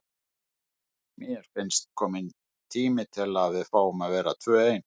Mér finnst kominn tími til að við fáum að vera tvö ein.